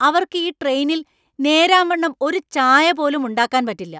അവർക്ക് ഈ ട്രെയിനിൽ നേരാവണ്ണം ഒരു ചായ പോലും ഉണ്ടാക്കാൻ പറ്റില്ല!